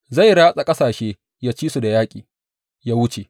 Zai ratsa ƙasashe, yă ci su da yaƙi, yă wuce.